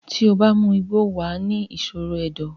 tí o bá mu igbó, wà á ni ìṣòro ẹ̀dọ̀.